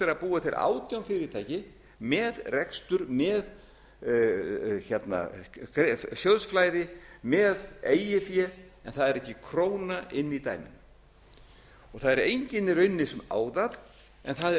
er að búa til átján fyrirtæki með rekstur með sjóðsflæði með eigið fé en það er ekki króna inni í dæminu það er enginn í rauninni sem á það en það er